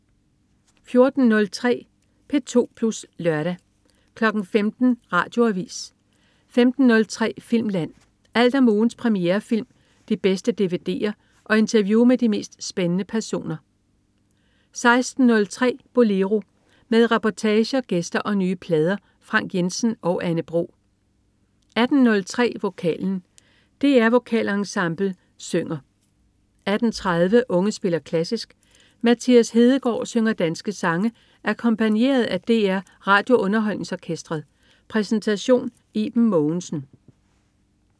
14.03 P2 Plus Lørdag 15.00 Radioavis 15.03 Filmland. Alt om ugens premierefilm, de bedste dvd'er og interview med de mest spændende personer 16.03 Bolero. Med reportager, gæster og nye plader. Frank Jensen og Anne Bro 18.03 Vokalen. DR Vokalensemblet synger 18.30 Unge spiller klassisk. Mathias Hedegaard synger danske sange akkompagneret af DR RadioUnderholdningsOrkestret. Præsentation: Iben Mogensen